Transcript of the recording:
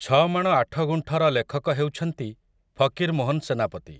ଛମାଣ ଆଠଗୁଣ୍ଠ' ର ଲେଖକ ହେଉଛନ୍ତି ଫକୀର ମୋହନ ସେନାପତି ।